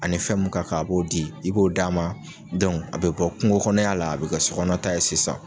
Ani fɛn mun ka kan a b'o di, i b'o d'a ma, a bi bɔ kungo kɔnɔya la, a bi kɛ sokɔnɔ ta ye sisan.